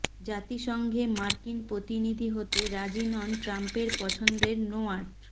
জাতিসংঘে মার্কিন প্রতিনিধি হতে রাজি নন ট্রাম্পের পছন্দের নোয়ার্ট